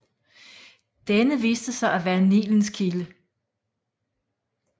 Denne viste sig at være Nilens kilde